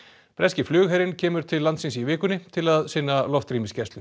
breski flugherinn kemur til landsins í vikunni til að sinna loftrýmisgæslu